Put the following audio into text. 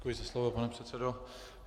Děkuji za slovo, pane předsedo.